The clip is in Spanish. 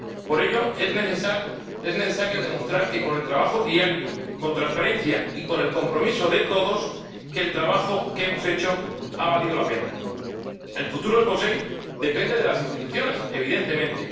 Por ello, es necesario demostrar que, con el trabajo diario, con transparencia y con el compromiso de todos, el trabajo que hemos hecho ha valido la pena. El futuro del POSEI depende de las instituciones, evidentemente.